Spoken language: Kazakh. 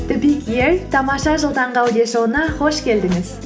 тамаша жыл таңғы аудиошоуына қош келдіңіз